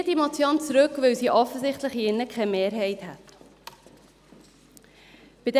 Ich ziehe die Motion zurück, weil sie hier drin offensichtlich keine Mehrheit fände.